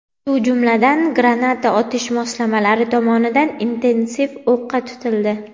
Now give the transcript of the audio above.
shu jumladan granata otish moslamalari tomonidan intensiv o‘qqa tutildi.